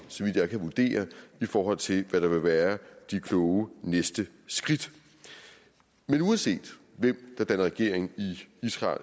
så vidt jeg kan vurdere i forhold til hvad der vil være det kloge næste skridt men uanset hvem der danner regering i israel